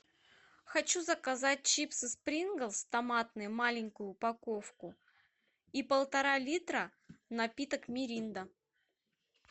хочу заказать чипсы принглс томатные маленькую упаковку и полтора литра напиток миринда